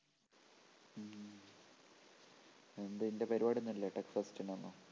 എന്തേ നിൻ്റെ പരിപാടിയൊന്നുമില്ലേ tech fest ന് ഒന്നും